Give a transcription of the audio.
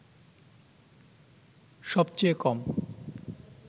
সবচেয়ে কম